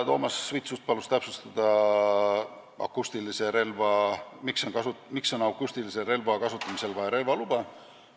Toomas Vitsut palus täpsustada, miks on akustilise relva kasutamisel vaja relvaluba.